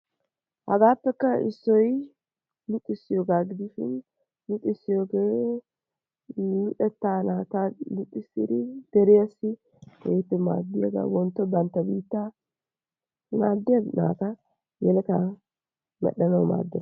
Hagaappekka issoy luxissiyogaa gidishin luxissiyogee luxettaa naata luxissidi deriyassi maaddiyagaa, wontto bantta biittaa maaddiya naata, yeletaa medhdhanawu maaddees.